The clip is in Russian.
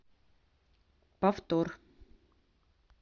повтор